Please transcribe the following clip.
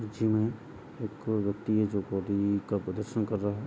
Gym मे एक व्यक्ति है जो बॉडी का प्रदर्शन कर रहा है।